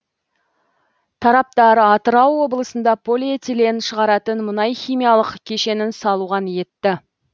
тараптар атырау облысында полиэтилен шығаратын мұнайхимиялық кешенін салуға ниетті